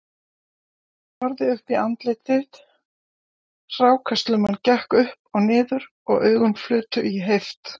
Ég horfði uppí andlit þitt, hrákaslumman gekk upp og niður og augun flutu í heift